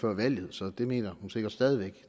før valget så det mener hun sikkert stadig